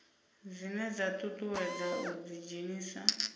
dzine dza ṱuṱuwedza u ḓidzhenisa